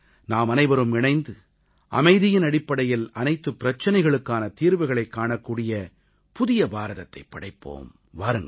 நாமனைவரும் இணைந்து அமைதியின் அடிப்படையில் அனைத்து பிரச்சனைகளுக்கான தீர்வுகளைக் காணக்கூடிய புதிய பாரதத்தைப் படைப்போம் வாருங்கள்